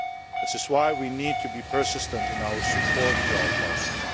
This is why we need to be persistent in our support to our partners.